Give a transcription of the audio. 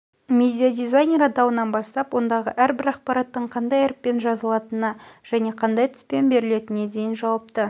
медиадизайнер атауынан бастап ондағы әрбір ақпараттың қандай әріппен жазылатынына және қандай түспен берілетініне дейін жауапты